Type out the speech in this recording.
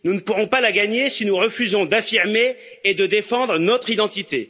Nous ne pourrons pas la gagner si nous refusons d'affirmer et de défendre notre identité.